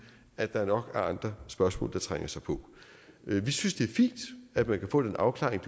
at der nok er andre spørgsmål der trænger sig på vi synes det er fint at man kan få den afklaring